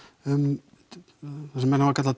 um það sem menn hafa kallað